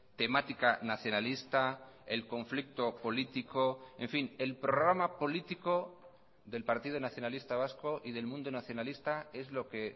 temática nacionalista el conflicto político en fin el programa político del partido nacionalista vasco y del mundo nacionalista es lo que